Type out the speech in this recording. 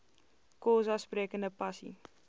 xhosa sprekende pasi